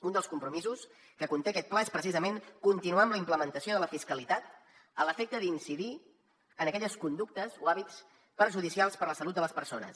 un dels compromisos que conté aquest pla és precisament continuar amb la implementació de la fiscalitat a l’efecte d’incidir en aquelles conductes o hàbits perjudicials per a la salut de les persones